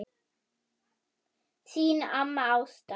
Þín amma Ásta.